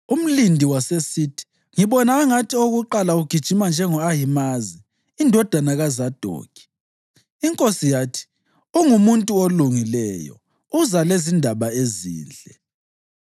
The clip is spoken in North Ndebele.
Umlindi wasesithi, “Ngibona angathi owakuqala ugijima njengo-Ahimazi indodana kaZadokhi.” Inkosi yathi, “Ungumuntu olungileyo. Uza lezindaba ezinhle.”